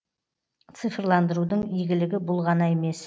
цифрландырудың игілігі бұл ғана емес